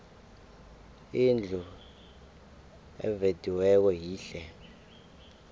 indlu evediweko yihle